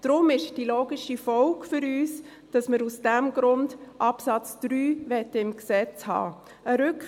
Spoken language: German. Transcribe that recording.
Deshalb ist die logische Folge für uns, dass wir aus diesem Grund Absatz 3 im Gesetz haben wollen.